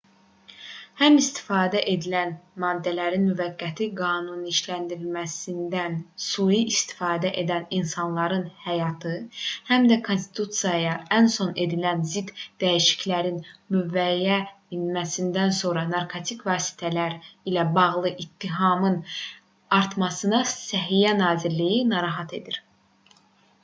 həm istifadə edilən maddələrin müvəqqəti qanuniləşdirilməsindən sui istifadə edən insanların həyatı həm də konstitusiyaya ən son edilən zidd dəyişikliklərin qüvvəyə minməsindən sonra narkotik vasitələr ilə bağlı ittihamların artması səhiyyə nazirliyini narahat edir